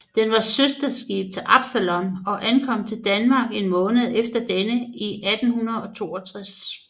Den var søsterskib til Absalon og ankom til Danmark en måned efter denne i 1862